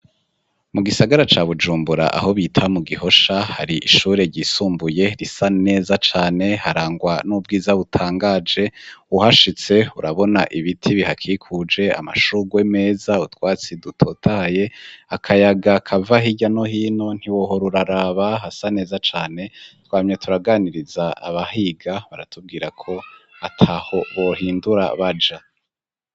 Mu gisagara ca Bujumbura aho bita mu gihosha hari ishure ryisumbuye risa neza cane harangwa n'ubwiza butangaje, uhashitse urabona ibiti bihakikuje ,amashurwe meza, utwatsi dutotahaye, akayaga kava hirya no hino ntiwohora uraraba hasa neza cane twamye turaganiriza abahiga baratubwira ko ataho bohindura baja.